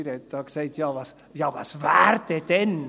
Freudiger hat gesagt: «Ja was wäre, wenn?